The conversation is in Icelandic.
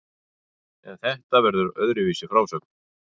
En þetta verður öðruvísi frásögn.